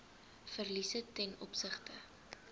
verliese ten opsigte